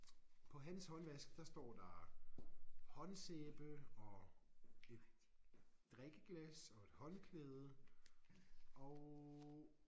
På hans håndvask der står der håndsæbe og et drikkeglas og et håndklæde og